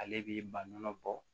Ale b'i baɲuman bɔ